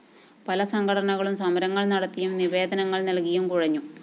പല സംഘടനകളും സമരങ്ങള്‍ നടത്തിയും നിവേദനങ്ങള്‍ നല്‍കിയും കുഴഞ്ഞു